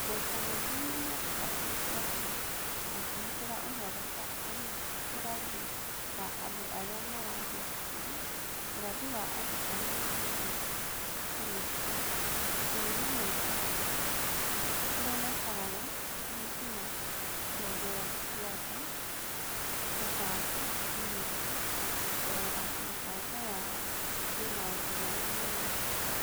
Maita maingĩ nĩ marutaga riboti makĩhũthĩra ũhoro ta ũrathi wa andũ arĩa marathiĩ cukuru, ũrathi wa andũ arĩa mahotete kũrĩkia, kũrĩa maikaraga, ũhiki, na ciongero cia nda, kũbanga, kũhingia, na kũrora mĩbango yao na maũndũ marĩa mareka.